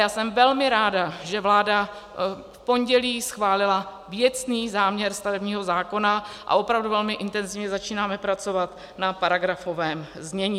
Já jsem velmi ráda, že vláda v pondělí schválila věcný záměr stavebního zákona, a opravdu velmi intenzivně začínáme pracovat na paragrafovém znění.